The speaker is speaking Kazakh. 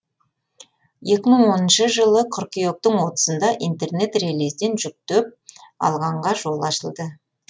екі мың оныншы жылы қыркүйектің отызында интернет релизден жүктеп алғанға жол ашылды